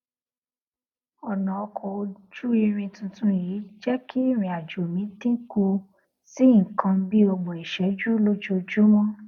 ònà ọkò ojú irin tuntun yìí jé kí ìrìn àjò mi dín kù sí nǹkan bí ọgbòn ìṣéjú lójoojúmó